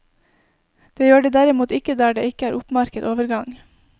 Det gjør de derimot ikke der det ikke er oppmerket overgang.